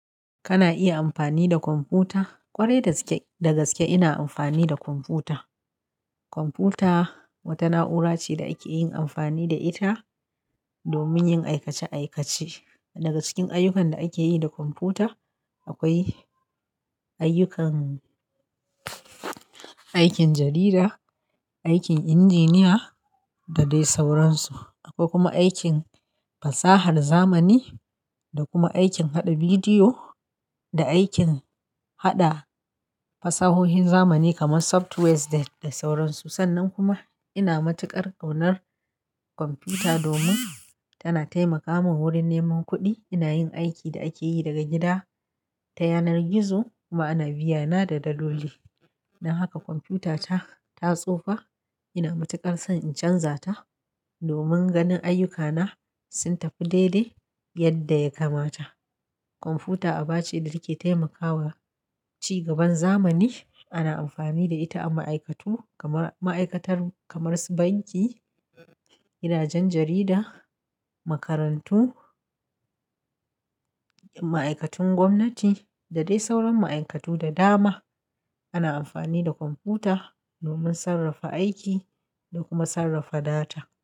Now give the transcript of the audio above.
Kana iya amfani da kwamfuta? Kwarai da gaske ina amfani da kwamfuta. Kwamfuta wata na'ura ce da ake yin amfani da ita domin yin aikace-aikace. Daga cikin ayyukan da ake yi da kwamfuta akwai ayyukan aikin jarida, aikin injiniya da dai sauransu. Akwai kuma aikin fasahar zamani da kuma aikin haɗa bidiyo da aikin haɗa fasahohin zamani kamar softwares da sauransu. Sannan kuma ina matuƙar ƙaunar kwamfuta domin tana taimaka mun wurin neman kuɗi. Ina yin aikin da ake yi daga gida ta yanar gizo kuma ana biyana da dadoli. Don haka kwamfutata ta tsufa ina matuƙar son in canza ta domin ganin ayyukana sun tafi daidai yadda ya kamata. Kwamfuta aba ce da ke taimakawa ci gaban zamani. Ana amfani da ita a ma'aikatu kamar ma'aikatar kamar su banki, gidajen jarida, makarantu, ma'aikatun gwamnati da dai sauran ma'aikatu da dama. Ana amfani da kwamfuta domin sarrafa aiki da kuma sarrafa data.